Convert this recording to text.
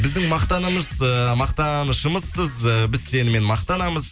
біздің мақтанымыз мақтанышымызсыз біз сенімен мақтанамыз